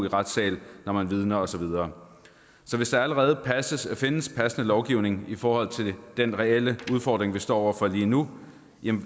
i retssale når man vidner og så videre så hvis der allerede findes en passende lovgivning i forhold til den reelle udfordring vi står over for lige nu